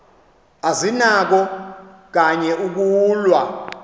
azinakho kanye ukulwa